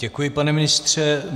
Děkuji, pane ministře.